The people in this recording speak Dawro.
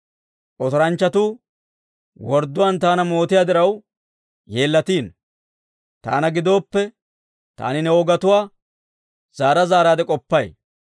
Otoranchchatuu wordduwaan taana mootiyaa diraw, yeellatino. Taana gidooppe, taani ne wogatuwaa zaara zaaraadde k'oppay.